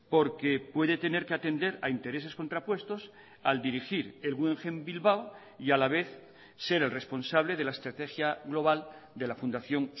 porque puede tener que atender a intereses contrapuestos al dirigir el guggenheim bilbao y a la vez ser el responsable de la estrategia global de la fundación